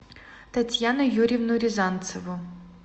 татьяну юрьевну рязанцеву